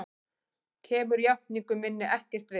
Kemur játningu minni ekkert við.